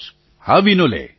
પ્રધાનમંત્રી હા વિનોલે